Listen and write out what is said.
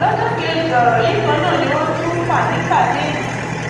lọjọ kejì ọrọ yìí kan náà ni wọn tún ń fà nípàdé yìí